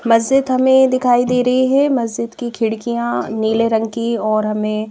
मस्जिद हमें दिखाई दे रही है मस्जिद की खिड़कियां नीले रंग की और हमें--